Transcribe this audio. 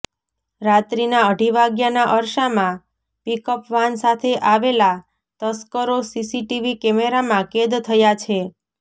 રાત્રીના અઢી વાગ્યાના અરસામાં પીકઅપ વાન સાથે આવેલા તસ્કરો સીસીટીવી કેમેરામાં કેદ થયા છે